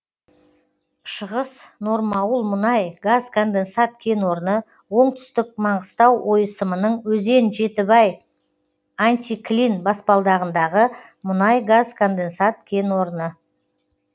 шығыс нормауыл мұнай газ конденсат кен орны оңтүстік маңғыстау ойысымының өзен жетібай антиклин баспалдағындағы мұнай газ конденсат кен орны